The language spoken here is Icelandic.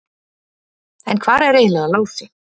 En hvar er eiginlega Lási?